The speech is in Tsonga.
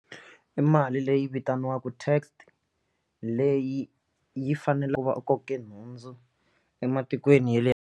I mali leyi vitaniwaka tax leyi yi fanele ku va u koke nhundzu ematikweni ya le.